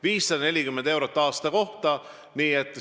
540 eurot aasta kohta!